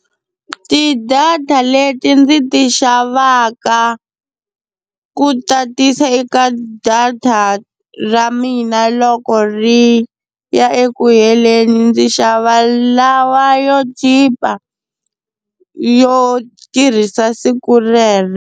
Ti-data leti ndzi ti xavaka ku tatisa eka data ra mina loko ri ya eku heleni ndzi xava lawa yo chipa yo tirhisa siku rero.